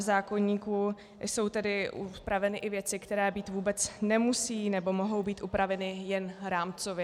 V zákoníku jsou tedy upraveny i věci, které být vůbec nemusí, nebo mohou být upraveny jen rámcově.